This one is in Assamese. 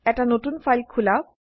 এটা নতুন ফাইল খোলা